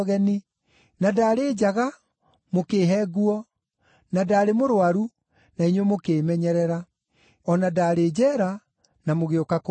na ndaarĩ njaga mũkĩĩhe nguo, na ndaarĩ mũrũaru na inyuĩ mũkĩĩmenyerera, o na ndaarĩ njeera na mũgĩũka kũndora.’